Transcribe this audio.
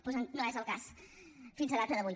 doncs no és el cas fins a data d’avui